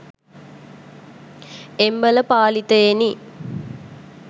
එම්බා පාලිතයෙනි